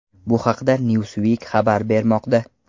Bu haqda Newsweek xabar bermoqda .